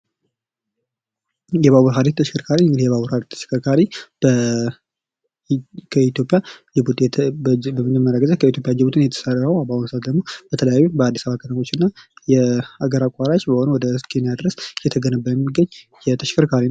የባቡር ሃዲድ ተሽከርካሪ እንግዲህ የባቡር ሃዲድ ተሽከርካሪ የመጀመሪያ ጊዜ ከኢትዮጵያ ጅቡቲ ነው የተሰራው ::በአሁኑ ሰዓት ደግሞ በተለያዩ በአዲስ አበባ ከተሞችና የአገር አቋራጭ በሆኑ ወደ ኬንያ ድረስ እየተገነባ የሚገኝ የተሽከርካሪው::